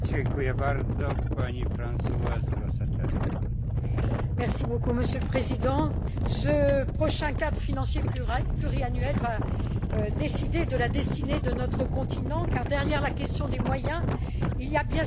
Monsieur le Président, ce prochain cadre financier pluriannuel va décider de la destinée de notre continent car, derrière la question des moyens, il y a bien sûr la question brûlante de la finalité quelle Europe voulons nous pour demain?